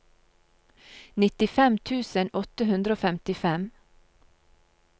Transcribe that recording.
nittifem tusen åtte hundre og femtifem